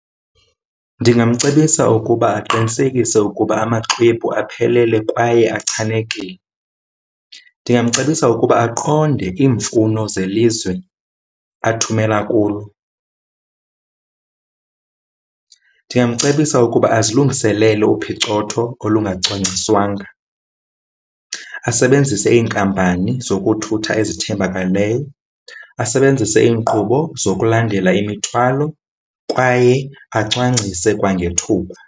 Ndingamcebisa ukuba aqinisekise ukuba amaxhwebhu aphelelwe kwaye achanekile. Ndingamcebisa ukuba aqonde iimfuno zelizwe athumele kulo. Ndingamcebisa ukuba azilungiselele uphicotho olungacwangciswanga, asebenzise iinkampani zokuthutha ezithembakeleyo, asebenzise iinkqubo zokulandela imithwalo kwaye acwangcise kwangethuba.